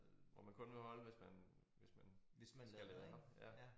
Hvor man kun må holde hvis man hvis man skal lade op ja